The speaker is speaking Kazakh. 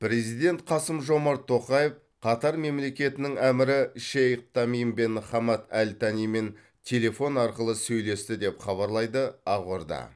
президент қасым жомарт тоқаев қатар мемлекетінің әмірі шейх тамим бен хамад әл танимен телефон арқылы сөйлесті деп хабарлайды ақорда